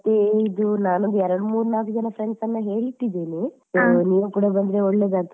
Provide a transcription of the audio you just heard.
ಮತ್ತೆ ಇದು ನಾನೊಂದು ಎರಡು ಮೂರು ನಾಲ್ಕು ಜನ friends ಅನ್ನ ಹೇಳಿ ಇಟ್ಟಿದ್ದೇನೆ ನೀವು ಕೂಡ ಬಂದ್ರೆ ಒಳ್ಳೇದಾಗ್ತದೆ